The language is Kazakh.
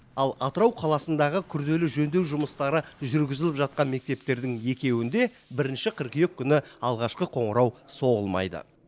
ал атырау қаласындағы күрделі жөндеу жұмыстары жүргізіліп жатқан мектептердің екеуінде бірінші қыркүйек күні алғашқы қоңырау соғылмайды